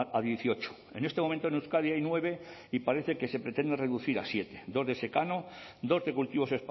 a dieciocho en este momento en euskadi hay nueve y parece que se pretende reducir a siete dos de secano dos de cultivos